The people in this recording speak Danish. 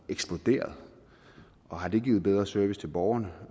eksploderet og har det givet en bedre service til borgerne